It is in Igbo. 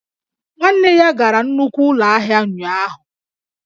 Nwanne ya gara nnukwu ụlọ ahịa ụnyaahụ